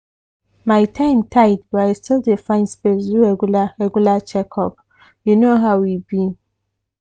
my time tight but i still dey find space do regular regular checkup. you know how e be.